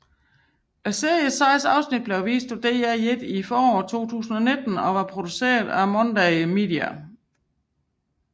Series seks afsnit blev vist på DR1 i foråret 2019 og var produceret af Monday Media